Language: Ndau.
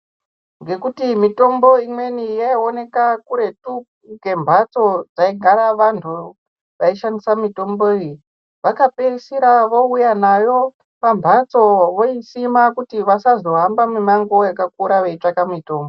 Ngekuti mitombo imweni yayioneka kuretu kwembatso dzaigara vantu vaishandisa mitombo iyi vakapeisira vouya nayo pambatso voisima kuti vasazohamba mumango yakakura veitsvaka mitombo.